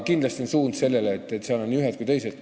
Kindlasti on suund sellele, et seal on nii ühed kui teised.